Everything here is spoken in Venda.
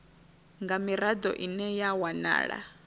nga mirado ine ya wanala